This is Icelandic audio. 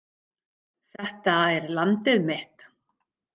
Þetta er landið mitt.